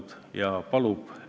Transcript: Seda lugesin ma ka protokollist.